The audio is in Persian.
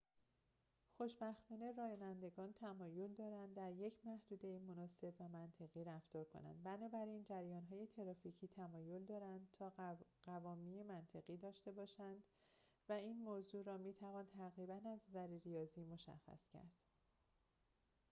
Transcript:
خوشبختانه رانندگان تمایل دارند در یک محدوده مناسب و منطقی رفتار کنند بنابراین جریان‌های ترافیکی تمایل دارند تا قوامی منطقی داشته باشند و این موضوع را می توان تقریباً از نظر ریاضی مشخص کرد